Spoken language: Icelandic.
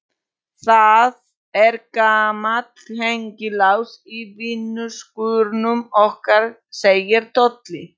Það er gamall hengilás í vinnuskúrnum okkar segir Tolli.